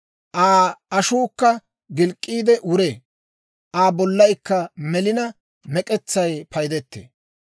Aa ashuukka gilk'k'iide wuree; Aa bollaykka melina, mek'etsay paydetee.